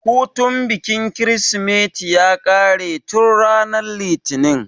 Hutun bikin kirismeti ya ƙare tun ranar litinin